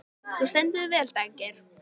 Þú stendur þig vel, Daggeir!